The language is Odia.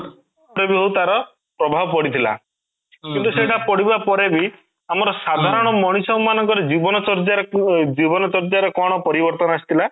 ଯୋଉଟା ବି ହଉ ତାର ପ୍ରଭାବ ପଡିଥିଲା କିନ୍ତୁ ସେଇଟା ପଡିବା ପରେ ବି ଆମର ସାଧାରଣ ମଣିଷ ମାନଙ୍କର ଜୀବନ ଜୀବନ ଶର୍ଯ୍ୟା ର କ'ଣ ପରିବର୍ତ୍ତନ ଆସିଥିଲା ?